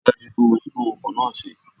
Ríi dájú wípé o tún ọkò náá ṣe